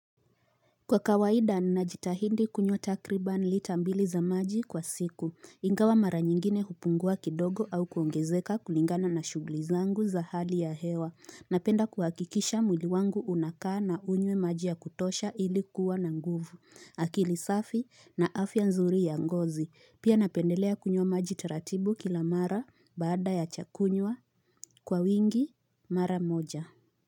Kwa kawaida najitahidi kunywa takriban lita mbili za maji kwa siku, ingawa mara nyingine hupungua kidogo au kuongezeka kulingana na shugulizangu za hali ya hewa, napenda kuhakikisha mwili wangu unakaa na unywe maji ya kutosha ili kuwa na nguvu, akili safi na afya nzuri ya ngozi, pia napendelea kunywa maji taratibu kila mara baada ya chakunywa kwa wingi mara moja.